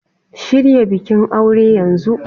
Shirya bikin aure yanzu!